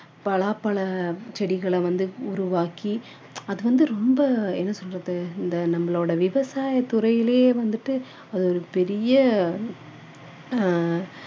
பலாப்பழ செடிகளை வந்து உருவாக்கி அது வந்து ரொம்ப என்ன சொல்றது இந்த நம்மளுடைய விவசாய துறையிலேயே வந்துட்டு ஒரு பெரிய ஆஹ்